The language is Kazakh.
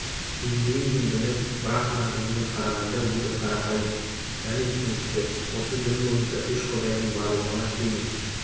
индуизм діні брахман дініне қарағанда өте қарапайым және түсінікті осы дін бойынша үш құдайдың барлығына сенім